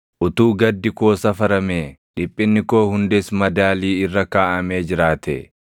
“Utuu gaddi koo safaramee dhiphinni koo hundis madaalii irra kaaʼamee jiraatee!